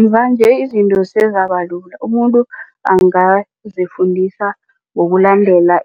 Mvanje izinto sezabalula umuntu angazifundisa ngokulandela